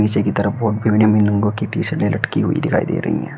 नीचे की तरफ बोर्ड पे विभिन्न विभिन्न रंगों की टी शर्टे लटकी हुई दिखाई दे रही हैं।